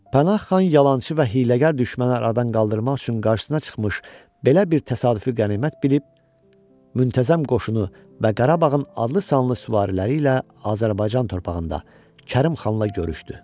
Pənah xan yalançı və hiyləgər düşməni aradan qaldırmaq üçün qarşısına çıxmış, belə bir təsadüfi qənimət bilib, müntəzəm qoşunu və Qarabağın adlı-sanlı süvariləri ilə Azərbaycan torpağında Kərim xanla görüşdü.